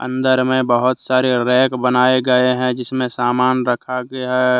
अंदर में बहोत सारे रैक बनाए गए हैं जिसमें सामान रखा गया है।